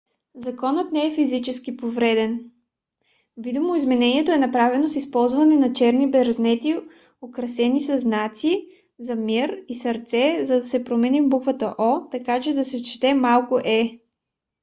знакът не е физически повреден; видоизменението е направено с използване на черни брезенти украсени със знаци за мир и сърце за да се промени буквата о така че да се чете малко е